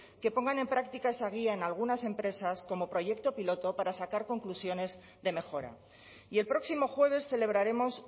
que pongan en práctica esa guía en algunas empresas como proyecto piloto para sacar conclusiones de mejora y el próximo jueves celebraremos